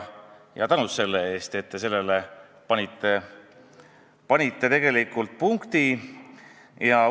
Aitäh selle eest, et te panite sellele punkti!